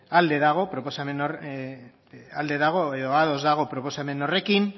alde dago edo ados dago proposamen horrekin